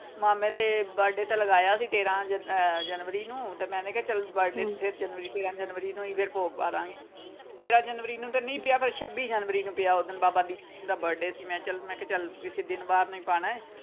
ਮਾਮੇ ਦੇ birthday ਤੇ ਲਗਾਇਆ ਸੀ ਘੇਰਾਂ ਅਹ ਜਨਵਰੀ ਨੂੰ ਤੇ ਮੈਨੇ ਕਿਹਾ ਚਲ birthday ਤੇਰਾਂ ਜਨਵਰੀ ਨੂੰ ਫੇਰ ਭੋਗ ਪਾਦਾਂਗੇ ਤੇਰਾਂ ਜਨਵਰੀ ਨੂੰ ਤੇ ਨਹੀਂ ਪਿਆ ਪਰ ਛੱਬੀ ਜਨਵਰੀ ਨੂੰ ਪਿਆ ਓਦਣ ਬਾਬਾ ਦੀਪ ਸਿੰਘ ਜੀ ਦਾ birthday ਸੀ ਮੈਂ ਕਿਹਾ ਚਲ ਕਿਸੇ ਦਿਨ ਵਾਰ ਨੂੰ ਪਾਉਣਾ।